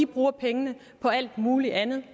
bruger pengene på alt muligt andet